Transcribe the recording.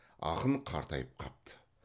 ақын қартайып қапты